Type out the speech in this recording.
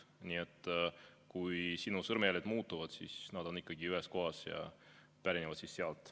Nii et kui sinu sõrmejäljed muutuvad, siis nad on ikkagi ühes kohas ja pärinevad sealt.